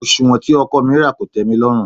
Òsùwọ́n tí ọkọ̀ mi rà kò tẹ́milọ́rùn.